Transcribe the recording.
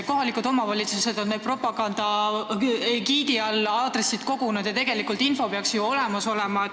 Kohalikud omavalitsused on neid aadresse kogunud ja tegelikult info peaks ju olemas olema.